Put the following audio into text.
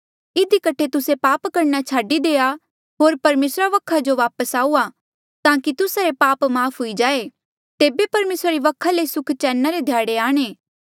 इधी कठे तुस्से पाप करणा छाडी देआ होर परमेसरा वखा जो वापस आऊआ ताकि तुस्सा रे पाप माफ़ हुई जाए तेबे परमेसरा री वखा ले सुख चैना रे ध्याड़े आये